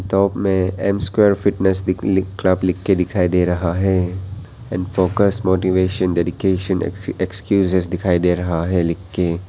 Top में M square fitness दिख लिख क्लब लिख कर दिखाई दे रहा है। And focus motivation dedication ex excuse दिखाई दे रहा है लिख के।